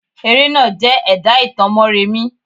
Eré náà jẹ́ ẹ̀dà ìtàn Mọ́remí.